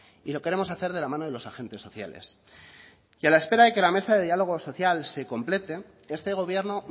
y lo queremos hacer de la mano de los agentes sociales y a la espera de que la mesa de diálogo social se complete este gobierno